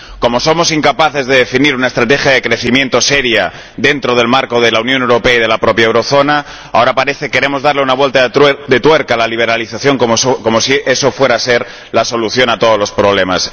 Como somos incapaces de definir una estrategia de crecimiento seria, dentro del marco de la Unión Europea y de la propia zona del euro, ahora parece que queremos darle una vuelta de tuerca a la liberalización, como si eso fuera a ser la solución a todos los problemas.